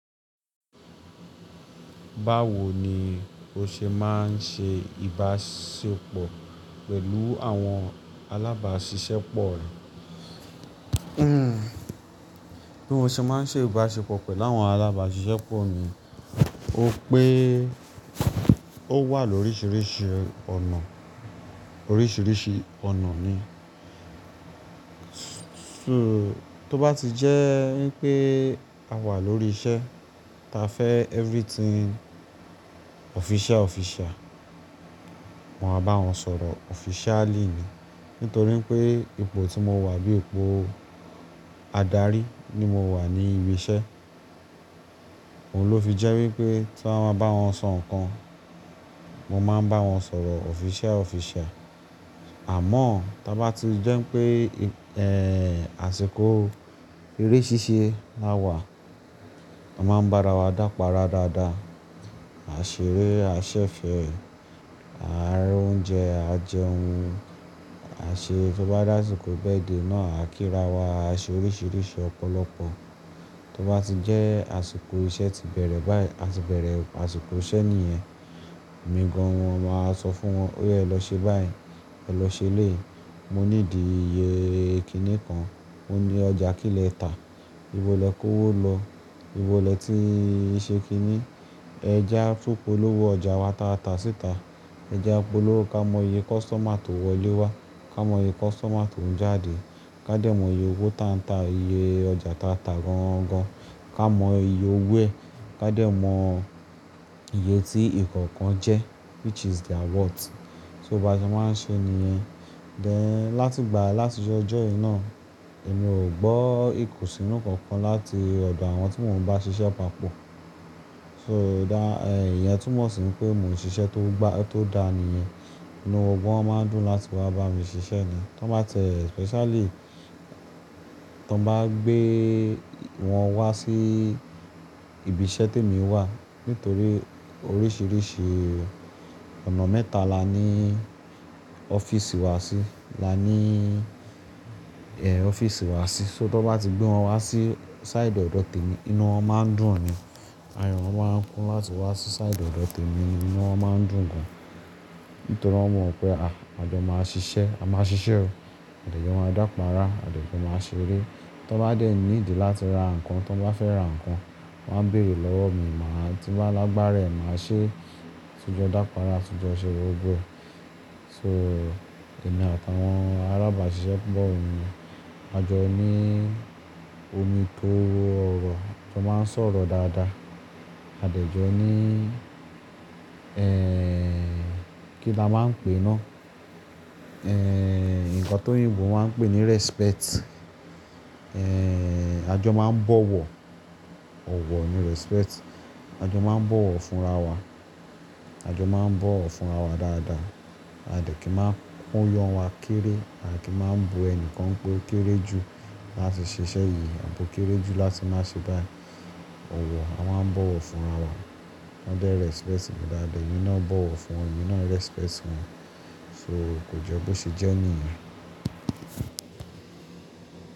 Báwo ni o ṣe máa ń ṣe ìbáṣepọ̀ pẹ̀lú àwọn alábàáṣiṣẹ́ pọ̀ rẹ? Bí mo ṣe máa ń ṣe ìbáṣepọ̀ pẹ̀lú àwọn alábàáṣiṣẹ́ pọ̀ mi, ó pé ó wà lóríṣiríṣi ọ̀nà, oríṣiríṣi ọ̀nà ni. So, tó bá ti jẹ́ wípé a wà lórí iṣẹ́, ta fẹ́ everything official official, mo máa bá wọn sọ̀rọ̀ officially ni. Nítorí pé ipò tí mo wà bí ipò adarí ni mo wà ní ibi iṣẹ́. Ohun ló fi jẹ́ wípé tí wón ma bá wọn sọ nǹkan, mo máa ń bá wọn sọ̀rọ̀ official official. Àmọ́ tó bá ti jẹ́ pé, eh, àsìkò eré ṣíṣe la wà, a máa ń bá ara wa dápa rárá dáadáa. A ṣeré, a ṣẹ̀fẹ̀ẹ́, a ra oúnjẹ, a jẹ ohun, a ṣe tó bá dà àsìkò birthday náà, a kíra wa, a ṣe oríṣiríṣi ọ̀pọ̀lọpọ̀. Tó bá ti jẹ́ àsìkò iṣẹ́ ti bẹ̀rẹ̀ báyìí, a ti bẹ̀rẹ̀ àsìkò iṣẹ́ nìyẹn, mi gan an wọn máa sọ fún wọn, óyè lọ ṣe báyìí, e lọ ṣe eléyii. Mo ní ìdí iye ìkíni kan, mo ní ọjà kí lè tà, ibo lè kó owó lọ? Ibo lè ti ṣe kíni? Ẹ já tún polówó ọjà wa taa ta síta. Ẹ já polówó ká mọ iye customer tó wọlé wá, ká mọ iye customer tó ń jáde. Ká dé mọ iye owó tata, iye ọjà tata gán-gán-gán. Ká mọ iye owó ẹ̀, ká dé mọ iye tí ìkọ̀ọ̀kan jẹ́, which is their worth. So bá ti máa ń ṣe nìyẹn. Then, láti ìgbà láti ojoọjọ́ yìí náà, èmi ò gbọ́ ìkùnsínú kankan láti ọ̀dọ̀ àwọn tí mò ń bá ṣiṣẹ́ papọ̀. So da, eh, ìyẹn túmọ̀ sí pé mò ń ṣiṣẹ́ tó, tó dáa nìyẹn. Inú wọn máa ń dùn láti wá bá mi ṣiṣẹ́ ni. Tán bá tiẹ̀ especially, tán bá gbé wọn wá sí ibi iṣẹ́ tí èmi wà, nítorí oríṣiríṣi ọ̀nà mẹ́ta la ní ọ́fíìsì wa sí. La ní, eh, ọ́fíìsì wa sí. So tó bá ti gbé wọn wá sí side ọ̀dọ̀ tí mo, inú wọn máa ń dùn ni. Ayọ̀ wọn máa ń kún láti wá sí side ọ̀dọ̀ tí mo, inú wọn máa ń dùn gan. Nítorí wọ́n mọ̀ pé à, a jọ máa ṣiṣẹ́, a máa ṣiṣẹ́ o. A dẹ̀ jọ máa dápará, a dẹ̀ jọ máa ṣeré. Tán bá dé need láti ra nǹkan, tán bá fẹ́ ra nǹkan, wọ́n á bèèrè lọ́wọ́ mi, màá tí bá lágbára è, màá ṣe. Atí jọ dápará, tí jọ ṣe gbógbo e. So, èmi àtàwọn alábàáṣiṣẹ́ pọ̀ mi, a jọ ní omi tó ro ọrọ̀, a jọ máa ń sọ̀rọ̀ dáadáa. A dẹ̀ jọ ní, eh, kí ni a máa ń pè náà? Eh, nǹkan tó oyinbo máa ń pè ní respect. Eh, a jọ máa ń bọ̀wọ̀. Ọ̀wọ̀ ni respect. A jọ máa ń bọ̀wọ̀ fún ara wa. A jọ máa ń bọ̀wọ̀ fún ara wa dáadáa. A dẹ̀ kí máa ń koyan wa kéré, a kì í máa ń bu ẹni kan pé ó kéré ju láti ṣe iṣẹ́ yìí, abi o kéré ju láti máa ṣe báayii. Ọ̀wọ̀, a máa ń bọ̀wọ̀ fún ara wa. Wọ́n dé respect mi dáadáa, èmi náà bọ̀wọ̀ fún wọn, èmi náà respect wọn. So kò je bó ṣe jẹ́ nìyẹn.